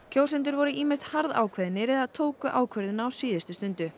kjósendur voru ýmist harðákveðnir eða tóku ákvörðun á síðustu stundu